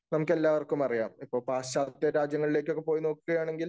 നമുക്ക് എല്ലാവർക്കും അറിയാം. ഇപ്പോ പാശ്ചാത്യരാജ്യങ്ങളിലൊക്കെ പോയി നോക്കുകയാണെങ്കിൽ